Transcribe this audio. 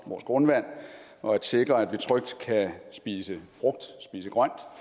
vores grundvand og at sikre at vi trygt kan spise frugt